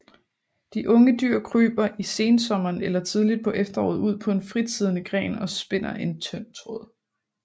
De unge dyr kryber i sensommeren eller tidligt på efteråret ud på en fritsiddende gren og spinder en tynd tråd